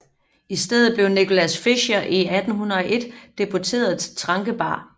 I stedet blev Nicolaus Fischer i 1801 deporteret til Trankebar